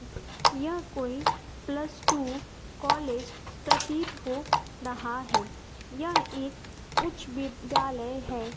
यह कोई plus two college प्रतीत हो रहा हैं यहं एक उच्च विद्यालय है।